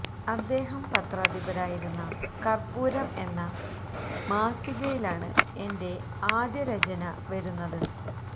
അദ്ദേഹം പത്രാധിപരായിരുന്ന കർപ്പൂരം എന്ന മാസികയിലാണ് എൻ്റെ ആദ്യ രചന വരുന്നതു്